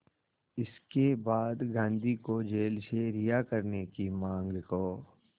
इसके बाद गांधी को जेल से रिहा करने की मांग को